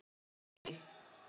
efnu í